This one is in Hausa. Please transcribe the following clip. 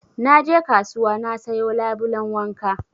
Na je kasuwa na sayo labulen wanka